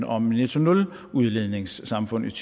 om et netto nuludledningssamfund i